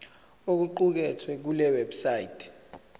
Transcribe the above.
okuqukethwe kule website